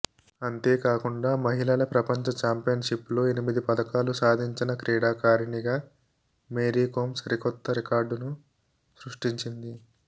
అంతేకాకుండా మహిళల ప్రపంచ చాంపియన్షిప్లో ఎనిమిది పతకాలు సాధించిన క్రీడాకారిణిగా మేరీకోమ్ సరికొత్త రికార్డును సృష్టించింది